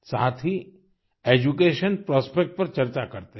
साथ ही education prospect पर चर्चा करते हैं